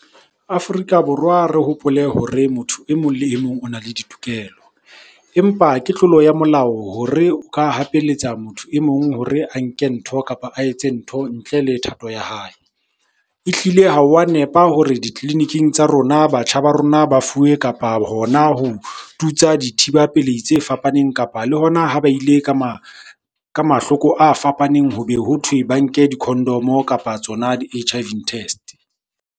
Afrika Borwa re hopole hore motho emong le emong o na le ditokelo. Empa ke tlolo ya molao hore o ka hapeletsa motho e mong hore a nke ntho, kapa a etse ntho ntle le thato ya hae. Ehlile ha wa nepa hore ditleliniking tsa rona batjha ba rona ba fuwe, kapa hona ho tutsa dithiba pelei tse fapaneng. Kapa le hona ha ba ile ka mahloko a fapaneng, ho be hothwe ba nke di-condom-o kapa tsona di-H_I_V test.